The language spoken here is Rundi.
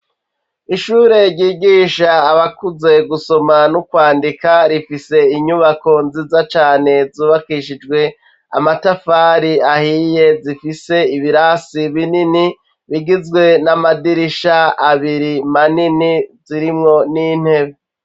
Ishure ryigisha abakuze gusoma no kwandika rifise inyubako nziza cane zubakishijwe amatafari ahiye zifise ibirasi binini bigizwe n'amadirisha abiri manini zirimwo n'intebe.